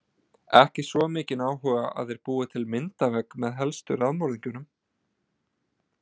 Ekki svo mikinn áhuga að þeir búi til myndavegg með helstu raðmorðingjunum.